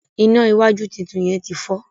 iná wájú títún yén tí fọ